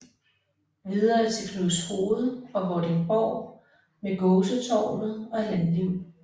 Videre til Knudshoved og Vordingborg med Gåsetårnet og landliv